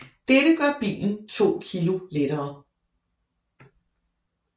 Dette gør bilen 2 kg lettere